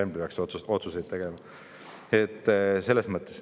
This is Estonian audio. Ma arvan, et te ei taha seda öelda.